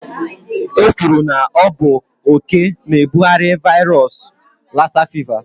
E kwuru na ọ bụ oké na ebughari vairos lassa fịva